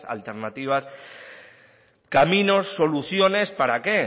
alternativas caminos soluciones para qué